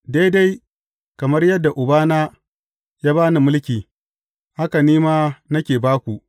Daidai kamar yadda Ubana ya ba ni mulki, haka ni ma nake ba ku.